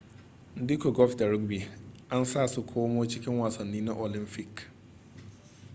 duka golf da rugby an za su komo cikin wasannin na olamfik